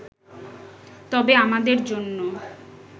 তবে আমাদের জন্য